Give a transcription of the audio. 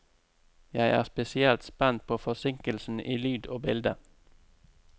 Jeg er spesielt spent på forsinkelsen i lyd og bilde.